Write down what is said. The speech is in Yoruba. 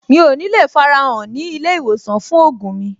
Mi ò ní le farahàn ní ilé-ìwòsàn fún ògùn mi.